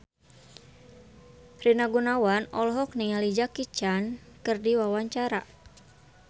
Rina Gunawan olohok ningali Jackie Chan keur diwawancara